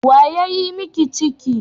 Wa ya yi miki ciki?